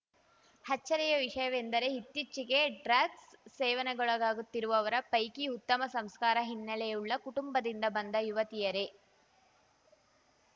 ಅಚ್ಚರಿಯ ವಿಷಯವೆಂದರೆ ಇತ್ತೀಚೆಗೆ ಡ್ರಗ್ಸ್‌ ಸೇವನೆಗೊಳಗಾಗುತ್ತಿರುವವರ ಪೈಕಿ ಉತ್ತಮ ಸಂಸ್ಕಾರ ಹಿನ್ನೆಲೆಯುಳ್ಳ ಕುಟುಂಬದಿಂದ ಬಂದ ಯುವತಿಯರೇ